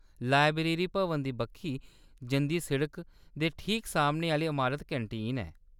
Library भवन दी बक्खी जंदी सड़का दे ठीक सामने आह्‌ली अमारत कैंटीन ऐ।